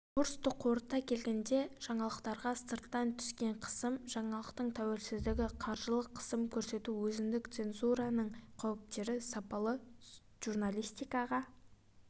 курсты қорыта келгенде жаңалықтарға сырттан түскен қысым жаңалықтың тәуелсіздігі қаржылық қысым көрсету өзіндік цензураның қауіптері сапалы журналистиға